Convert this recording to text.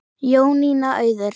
Jónína Auður.